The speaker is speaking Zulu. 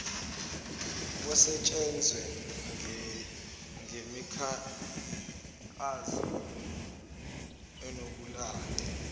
kusetshenzwe ngemikhankaso enokuba